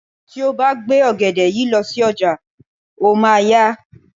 Tí o bá gbé ògèdè yìí lọ sí ọjà, o máa a yá.